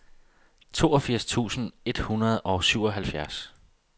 toogfirs tusind et hundrede og syvoghalvfjerds